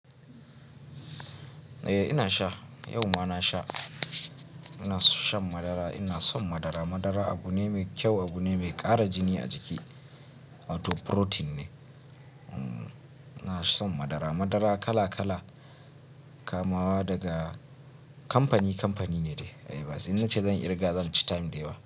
Eh ina sha, yau ma na sha. Ina shan madara, ina son madara. Madara abu ne mai kyau, abu ne mai ƙara jini a jiki. Wato protein ne. Ina son madara. Madara kala kala kamawa daga kamfani kamfani ne dai. Eh bas, in nace zan ƙirga zan ci time da yawa.